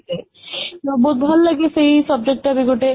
ବହୁତ ଭଲ ସେଇ subject ଗୋଟେ